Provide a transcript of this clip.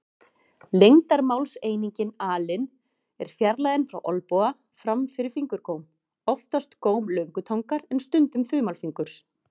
Lengdarmálseiningin alin er fjarlægðin frá olnboga fram fyrir fingurgóm, oftast góm löngutangar en stundum þumalfingurs.